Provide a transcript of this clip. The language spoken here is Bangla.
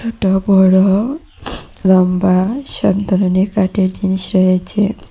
ছোট বড় লম্বা সব ধরনের কাঠের জিনিস রয়েছে।